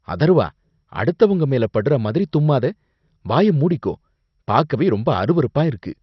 அதர்வா, அடுத்தவங்க மேல படுற மாதிரி தும்மாத. வாய மூடிக்கோ. பாக்கவே ரொம்ப அருவருப்பா இருக்கு.